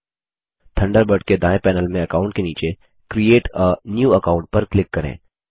Thunderbird के दाएँ panel में अकाऊंट के नीचे क्रिएट आ न्यू अकाउंट पर क्लिक करें